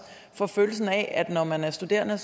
for følelsen af at når man er studerende